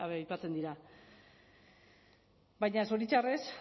aipatzen dira baina zoritxarrez